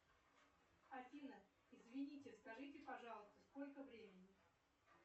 афина извините скажите пожалуйста сколько времени